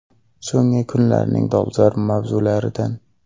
So‘nggi kunlarning dolzarb mavzularidan.